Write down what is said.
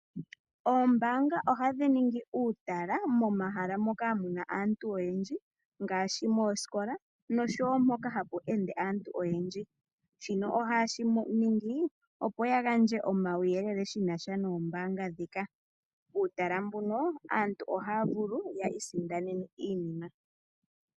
Oombaanga ohadhi ningi uutala momahala moka muna aantu oyendji ngaashi moositola, noshowo mpoka hapu ende aantu oyendji. shino ohaye shi ningi opo ya gandje omauyelele shinasha noombanga dhika. Puutala mbuno aantu ohaya vulu ya isindanene iinima.